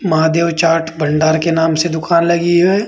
महादेव चाट भंडार के नाम से दुकान लगी है।